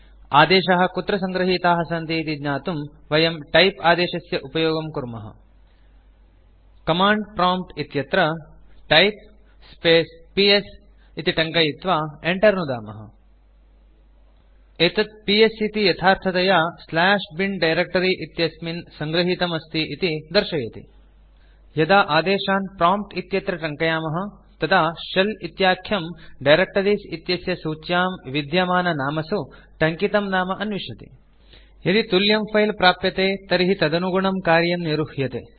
आदेशाः कुत्र सङ्गृहीताः सन्ति इति ज्ञातुं वयम् टाइप आदेशस्य उपयोगं कुर्मः कमाण्ड प्रॉम्प्ट् इत्यत्र टाइप स्पेस् पीएस इति टङ्कयित्वा enter इति नुदामः एतत् पीएस इति यथार्थतया bin डायरेक्ट्री इत्यस्मिन् सङ्गृहीतम् अस्ति इति दर्शयति यदा आदेशान् प्रॉम्प्ट् इत्यत्र टङ्कयामः तदा शेल इत्याख्यम् डायरेक्टरीज़ इत्यस्य सूच्यां विद्यमाननामसु टङ्कितं नाम अन्विष्यति यदि तुल्यं फिले प्राप्यते तर्हि तदनुगुणं कार्यं निरुह्यते